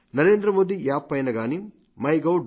Narendra Modi app పైన గానీ MyGov